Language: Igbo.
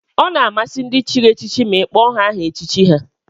Ọ na-amasị ndị chịrị echichi ma ị kpọọ ha aha echichi ha